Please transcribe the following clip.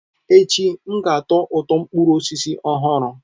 Echi, m ga-atọ ụtọ mkpụrụ ọhụrụ.